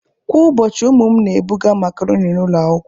Kwa ụbọchị, ụmụ m na-ebuga makaroni n'ụlọ akwụkwọ